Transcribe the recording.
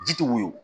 Ji tɛ woyo